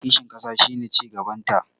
kishin ƙasa shi ne cigabanta